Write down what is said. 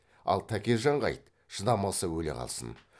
ал тәкежанға айт шыдамаса өле қалсын